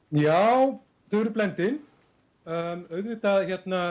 já þau eru blendin auðvitað